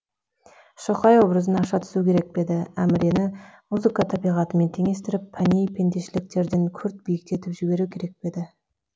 шоқай образын аша түсу керек пе еді әмірені музыка табиғатымен теңестіріп пәни пендешіліктерден күрт биіктетіп жіберу керек пе еді